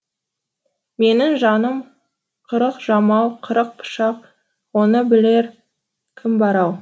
менің жаным қырық жамау қырық пышақ оны білер кім бар ау